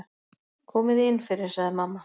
Komiði innfyrir, sagði mamma.